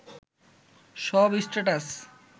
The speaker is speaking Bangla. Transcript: সব স্ট্যাটাস